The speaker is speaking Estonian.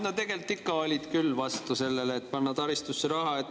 No tegelikult ikka olid küll vastu sellele, et panna taristusse raha.